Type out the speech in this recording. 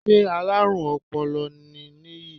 Sé alárùn ọpọlọ náà nìyí